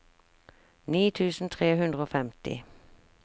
ni tusen tre hundre og femti